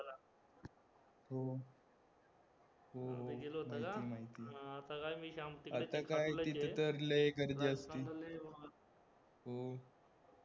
हो माहितीये माहितीये, आता काय तिथे तर लय गर्दी असते हो